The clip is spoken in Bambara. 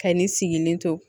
Ka nin sigilen to